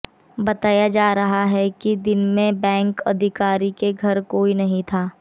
बताया जा रहा है कि दिन में बैंक अधिकारी के घर कोई नहीं था